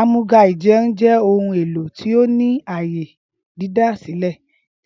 Ámúga -íjẹun jẹ ohun elo ti o ni aaye didasilẹ